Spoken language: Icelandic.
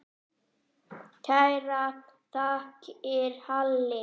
Kærar þakkir, Halli.